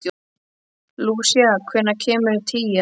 Lúsía, hvenær kemur tían?